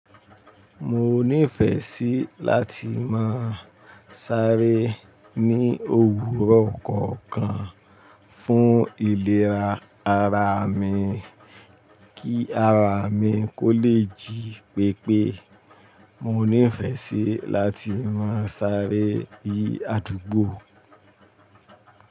Mo nífẹẹ sí láti máa sáré ní òwúrọ̀ kọ̀ọ̀kan fún ìlera ara mi kí ara mi kó lè jí pépé. Mo nífẹẹ sí láti máa sáré yí àdúgbò.